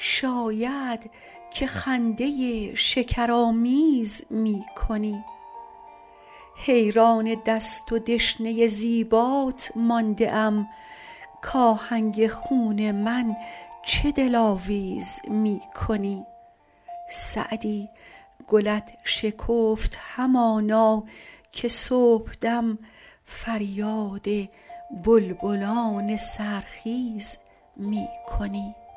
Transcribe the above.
شاید که خنده شکرآمیز می کنی حیران دست و دشنه زیبات مانده ام کآهنگ خون من چه دلاویز می کنی سعدی گلت شکفت همانا که صبحدم فریاد بلبلان سحرخیز می کنی